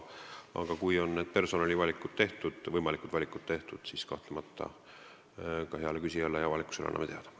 Aga kui võimalikud personalivalikud on tehtud, siis kahtlemata anname ka heale küsijale ja avalikkusele teada.